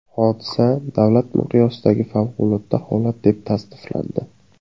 Hodisa davlat miqyosidagi favqulodda holat deb tasniflandi.